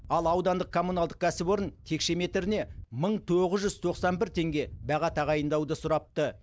ал аудандық коммуналдық кәсіпорын текше метріне мың тоғыз жүз тоқсан бір теңге баға тағайындауды сұрапты